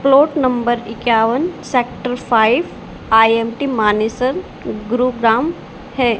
Plot number इक्यावन sector five I M T Manesar Gurugram है।